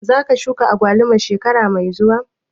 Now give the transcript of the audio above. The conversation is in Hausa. Za ka shuka agwaluma shekara mai zuwa?